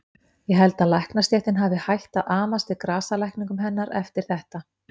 Ég held að læknastéttin hafi hætt að amast við grasalækningum hennar eftir þetta.